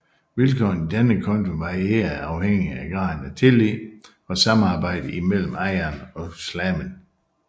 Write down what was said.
Vilkårene i denne konto varierede afhængigt af graden af tillid og samarbejde imellem ejeren og slaven